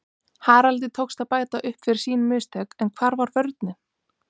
Haraldi tókst að bæta upp fyrir sín mistök en hvar var vörnin????